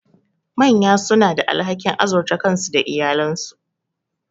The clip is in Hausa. Manya suna da alhakin azurta kansu da iyalansu.